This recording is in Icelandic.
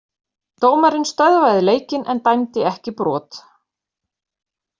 Dómarinn stöðvaði leikinn en dæmdi ekki brot.